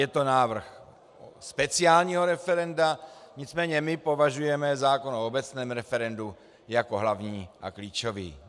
Je to návrh speciálního referenda, nicméně my považujeme zákon o obecném referendu za hlavní a klíčový.